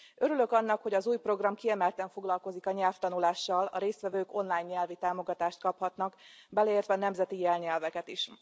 Örülök annak, hogy az új program kiemelten foglalkozik a nyelvtanulással, a résztvevők online nyelvi támogatást kaphatnak, beleértve a nemzeti irányelveket is.